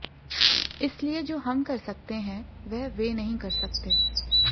इसलिए जो हम कर सकते हैं वह वे नहीं कर सकते